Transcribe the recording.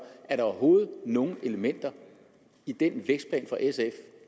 er der overhovedet nogen elementer i den vækstplan fra sf